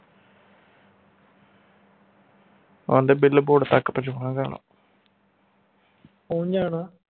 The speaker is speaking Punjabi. ਹਾਲੇ billboard ਤੱਕ ਪਹੁੰਚੋਣਾਂ ਗਾਣਾ